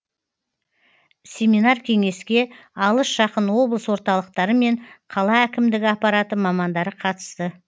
семинар кеңеске алыс жақын облыс орталықтары мен қала әкімдігі аппараты мамандары қатысты